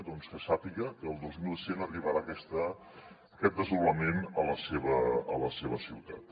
doncs que sàpiga que el dos mil cent arribarà aquest desdoblament a la seva ciutat